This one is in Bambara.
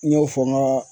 N y'o fɔ n ga